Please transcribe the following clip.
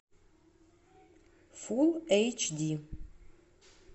фулл эйч ди